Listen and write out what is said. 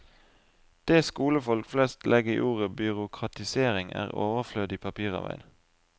Det skolefolk flest legg i ordet byråkratisering, er overflødig papirarbeid.